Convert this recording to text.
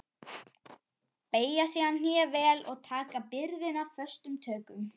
Beygja síðan hné vel og taka byrðina föstum tökum.